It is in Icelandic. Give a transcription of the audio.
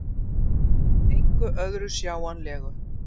Engu öðru sjáanlegu.